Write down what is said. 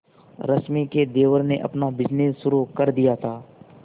रश्मि के देवर ने अपना बिजनेस शुरू कर दिया था